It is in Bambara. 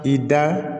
I da